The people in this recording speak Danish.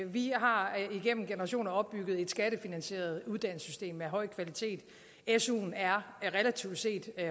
vi har igennem generationer opbygget et skattefinansieret uddannelsessystem af høj kvalitet suen er relativt set